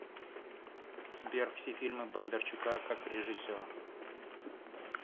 сбер все фильмы бондарчука как режиссера